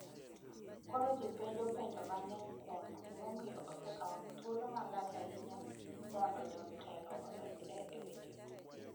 Koro ji penjo penjo mang’eny kuom gimomiyo osekawo thuolo malach ahinya mondo jotelo odonjre e wechego.